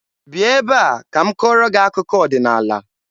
Bịa ebe a ka m kọọrọ gị akụkọ ọdịnaala!